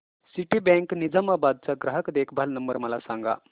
Citibank Nizamabad चा ग्राहक देखभाल नंबर मला सांगा